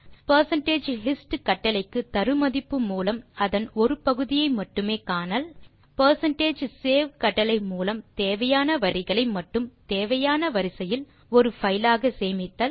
percentage hist கட்டளைக்கு தரு மதிப்பு மூலம் அதன் ஒரு பகுதியை மட்டுமே காணல் பெர்சென்டேஜ் சேவ் கட்டளை மூலம் தேவையான வரிகளை மட்டும் தேவையான வரிசையில் ஒரு பைல் ஆக சேமித்தல்